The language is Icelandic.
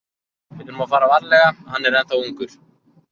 Við þurfum að fara varlega, hann er ennþá ungur.